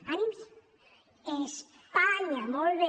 ànims espanya molt bé